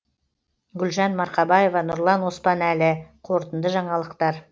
гүлжан марқабаева нұрлан оспанәлі қорытынды жаңалықтар